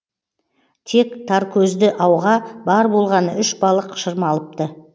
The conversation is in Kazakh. тек таркөзді ауға бар болғаны үш балық шырмалыпты